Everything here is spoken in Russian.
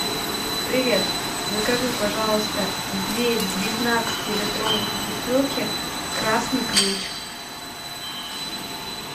привет закажи пожалуйста две девятнадцатилитровых бутылки красный ключ